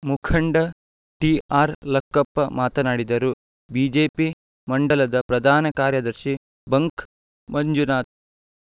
ಮುಖಂಡ ಟಿಆರ್‌ಲಕ್ಕಪ್ಪ ಮಾತನಾಡಿದರು ಬಿಜೆಪಿ ಮಂಡಲದ ಪ್ರಧಾನ ಕಾರ್ಯದರ್ಶಿ ಬಂಕ್‌ ಮಂಜುನಾಥ್‌